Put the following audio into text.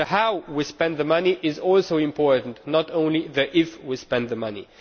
The ʽhowʼ we spend the money is also important, not just the ʽifʼ we spend the money.